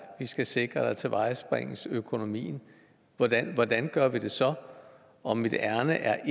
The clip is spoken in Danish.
skal sikre at der tilvejebringes økonomi hvordan hvordan gør vi det så og mit ærinde er